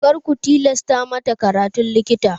Kar ku tilasta mata karatun likita!